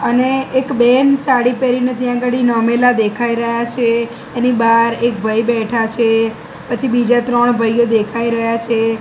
અને એક બેન સાડી પેરીને ત્યાં અગાડી નમેલા દેખાય રહ્યા છે એની બાર એક ભઈ બેઠા છે પછી બીજા ત્રણ ભાઇઓ દેખાય રહ્યા છે.